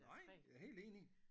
Nej jeg er helt enig